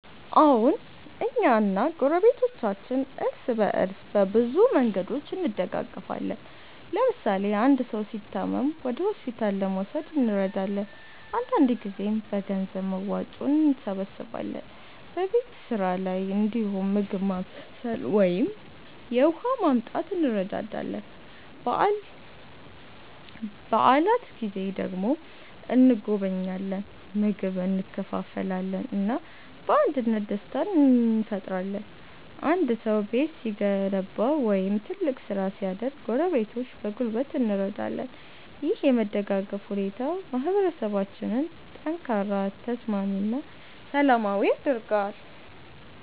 አዎን፣ እኛ እና ጎረቤቶቻችን እርስ በእርስ በብዙ መንገዶች እንደጋገፋለን። ለምሳሌ አንድ ሰው ሲታመም ወደ ሆስፒታል ለመውሰድ እንረዳለን፣ አንዳንድ ጊዜም በገንዘብ መዋጮ እንሰብስባለን። በቤት ስራ ላይ እንዲሁም ምግብ ማብሰል ወይም የውሃ ማመጣት እንረዳዳለን። በዓላት ጊዜ ደግሞ እንጎበኛለን፣ ምግብ እንካፈላለን እና በአንድነት ደስታ እንፈጥራለን። አንድ ሰው ቤት ሲገነባ ወይም ትልቅ ስራ ሲያደርግ ጎረቤቶች በጉልበት እንረዳለን። ይህ የመደጋገፍ ሁኔታ ማህበረሰባችንን ጠንካራ፣ ተስማሚ እና ሰላማዊ ያደርጋል።